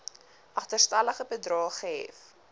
agterstallige bedrae gehef